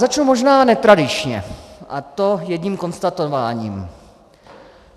Začnu možná netradičně, a to jedním konstatováním.